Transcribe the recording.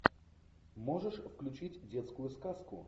можешь включить детскую сказку